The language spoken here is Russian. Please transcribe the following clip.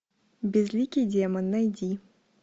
безликий демон найди